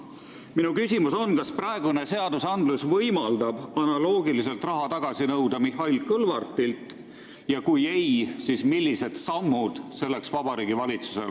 Minu küsimus on, kas praegused seadused võimaldavad analoogiliselt Mihhail Kõlvartilt raha tagasi nõuda ja kui ei, siis millised sammud on kavas Vabariigi Valitsusel.